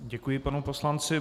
Děkuji panu poslanci.